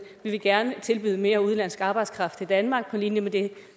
vi vil gerne tilbyde mere udenlandsk arbejdskraft til danmark på linje med det